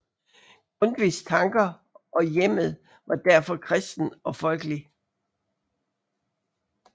Grundtvigs tanker og hjemmet var derfor kristent og folkeligt